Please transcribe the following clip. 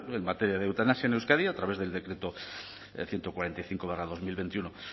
en materia de eutanasia en euskadi a través del decreto ciento cuarenta y cinco barra dos mil veintiuno